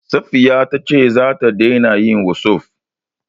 Safiya ta ce za ta daina yin wossof.